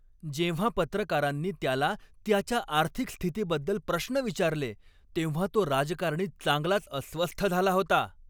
जेव्हा पत्रकारांनी त्याला त्याच्या आर्थिक स्थितीबद्दल प्रश्न विचारले तेव्हा तो राजकारणी चांगलाच अस्वस्थ झाला होता.